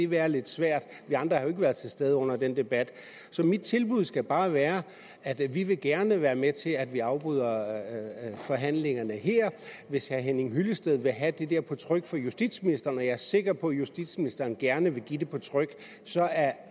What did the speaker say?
være lidt svært vi andre har jo ikke været til stede under den debat så mit tilbud skal bare være at vi gerne vil være med til at vi afbryder forhandlingerne her hvis herre henning hyllested vil have det der på tryk fra justitsministeren er jeg sikker på at justitsministeren gerne vil give det på tryk